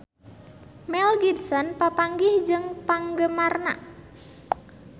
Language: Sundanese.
Mel Gibson papanggih jeung penggemarna